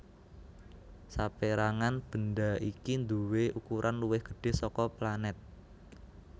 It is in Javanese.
Sapérangan bendha iki nduwé ukuran luwih gedhé saka planèt